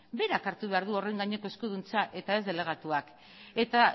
berak hartu behar du horren gaineko eskuduntza eta ez delegatuak eta